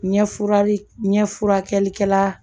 Ɲɛfurali ɲɛ furakɛlikɛla